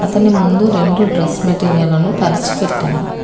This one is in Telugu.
అతను ముందు రెండు డ్రెస్ మెటీరియలను పర్చి పెట్టారు.